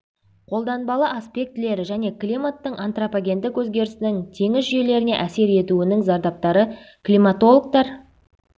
қолданбалы аспектілері және климаттың антропогендік өзгерісінің теңіз жүйелеріне әсер етуінің зардаптары климатологтар